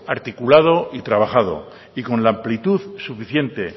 articulado y trabajado y con la amplitud suficiente